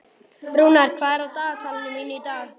Rúnar, hvað er á dagatalinu mínu í dag?